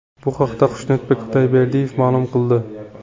Bu haqda Xushnudbek Xudoyberdiyev ma’lum qildi .